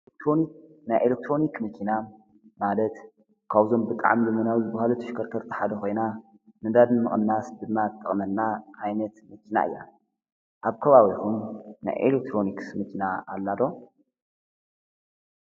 ኤሌክትሮንክ ናይ ኤሌክትሮኒክ መኪና ማለት ካብዞም ብጣዕሚ ልምናብ ዝብሃለት ተሽከርከርቲ ሓደ ኾይና ነዳዲ ምቕናስ ድማ ትጠቕመና ዓይነት መኪና እያ፡፡ ኣብ ከባቢኹም ናይ ኤሌክትሮንክስ መኪና ኣላ ዶ?